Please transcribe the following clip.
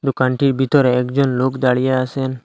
দোকানটির বিতরে একজন লোক দাঁড়িয়ে আসেন।